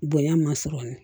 Bonya ma sɔrɔ